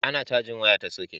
a na cajin waya ta soket